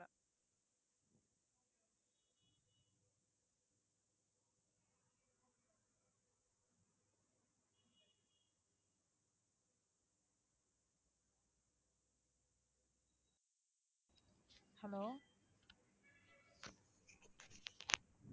hello